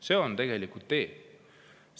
See on tegelikult tee.